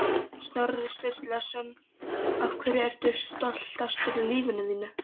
Snorri Sturluson Af hverju ertu stoltastur í lífi þínu?